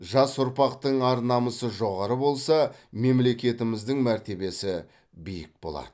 жас ұрпақтың ар намысы жоғары болса мемлекетіміздің мәртебесі биік болады